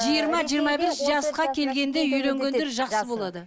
жиырма жиырма бес жасқа келгенде үйленгендер жақсы болады